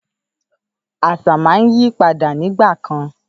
Àṣà máa ń yípadà nígbà kan.